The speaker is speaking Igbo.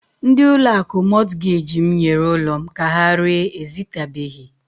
Ndi ụlọ akụ Mọtgej m nyere ụlọ m ka ha ree ezitabeghi.